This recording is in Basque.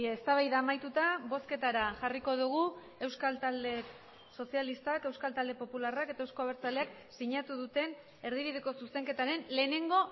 eztabaida amaituta bozketara jarriko dugu euskal talde sozialistak euskal talde popularrak eta euzko abertzaleak sinatu duten erdibideko zuzenketaren lehenengo